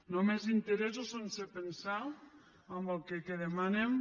només interessos sense pensar en el que demanem